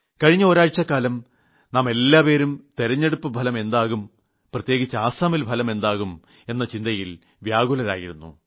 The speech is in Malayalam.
കഴിഞ്ഞ ഒരാഴ്ചക്കാലം നാമെല്ലാവരും തിരഞ്ഞെടുപ്പ് ഫലം എന്താകും പ്രത്യേകിച്ച് അസമിൽ ഫലം എന്താകും എന്ന ചിന്തയിൽ വ്യാകുലരായിരുന്നു